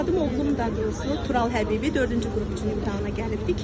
Övladım oğlum daha doğrusu Tural Həbibi dördüncü qrup üçün imtahana gəlibdir.